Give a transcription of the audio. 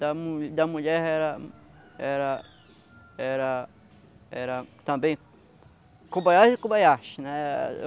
Da mu da mulher era... Era... Era... Também... Kobayashi e Kobayashi, né?